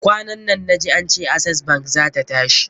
Kwanan nan na ji ance Access bank zata tashi.